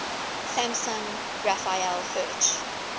samson raphael hirsch